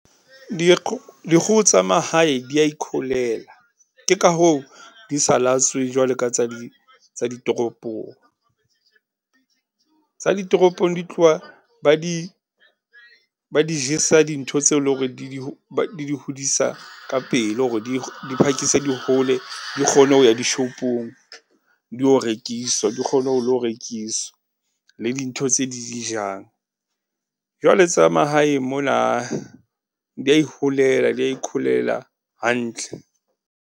dikgoho tsa mahae di ya ikholela, ke ka hoo, di sa latswe jwalo ka tsa di, tsa ditoropong. Tsa ditoropong di tloha ba di, ba di jesa dintho tseo leng hore di di, di di hodisa ka pele hore di , di phakise di hole, di kgone ho ya dishopong, di yo rekiswa, di kgone ho lo rekiswa. Le dintho tse di dijang. Jwale tsa mahaeng mona , di ya iholela, di ya ikholela hantle.